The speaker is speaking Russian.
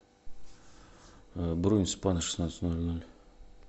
бронь спа на шестнадцать ноль ноль